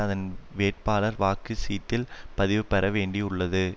அதன் வேட்பாளர் வாக்கு சீட்டில் பதிவு பெற வேண்டியுள்ளது